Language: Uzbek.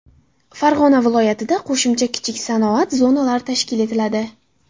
Farg‘ona viloyatida qo‘shimcha kichik sanoat zonalari tashkil etiladi.